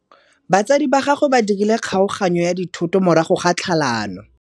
Batsadi ba gagwe ba dirile kgaoganyô ya dithoto morago ga tlhalanô.